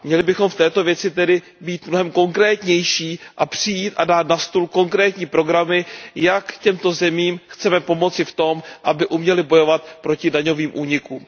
Měli bychom v této věci tedy být mnohem konkrétnější a přijít a dát na stůl konkrétní programy, jak těmto zemím chceme pomoci v tom, aby uměly bojovat proti daňovým únikům.